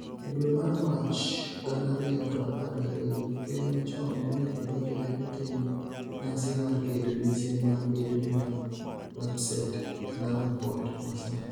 E dwe mar Mach 2012, Ker machon Mwai Kibaki ne otimo nyasi mar keto mise mar gedo mar Lapsset e Lamu Port ma sani.